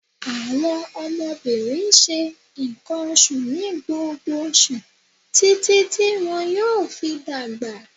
Àwọn ọmọbirin n ṣe nkan oṣu ni gbogbo oṣu titi ti wọn yoo fi dagba